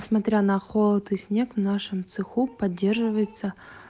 смотря на холод и снег в нашем цеху поддерживается